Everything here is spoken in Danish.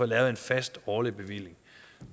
lavet en fast årlig bevilling